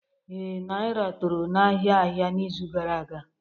Ee, Naira toro n'ahịa ahịa n'izu gara aga